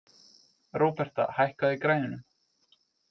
Róberta, hækkaðu í græjunum.